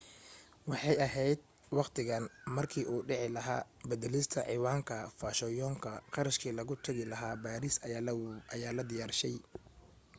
waxay ahayd wakhtigan markii uu dhici lahaa badalista ciwaanka fashoyoonka kharashkii lagu tagi lahaa paris ayaa la diyaarshay